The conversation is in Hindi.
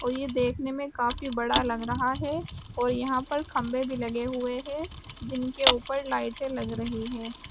और ये देखने में काफी बड़ा लग रहा है और यहां पर खंभे भी लगे हुए हैं जिनके ऊपर लाइटें लग रही है।